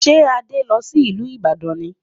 Ṣé Adé lọ sí ìlú Ibadan ni